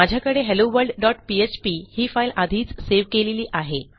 माझ्याकडे helloworldपीएचपी ही फाईल आधीच सेव्ह केलेली आहे